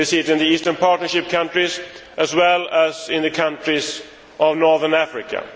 We see it in the Eastern Partnership countries as well as in the countries of Northern Africa.